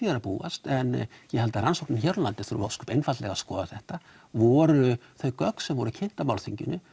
að búast en ég held að rannsóknin hér á landi þurfi ósköp einfaldlega að skoða þetta voru þau gögn sem voru kynnt á málþinginu